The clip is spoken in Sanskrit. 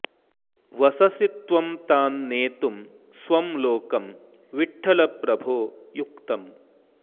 वससि त्वं तान्नेतुं स्वं लोकं विठ्ठल प्रभो युक्तम्